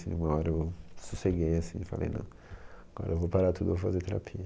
Uma hora eu sosseguei e falei, assim não, agora eu vou parar tudo e vou fazer terapia.